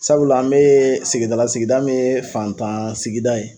Sabula an me sigidala sigida min ye fantan sigida ye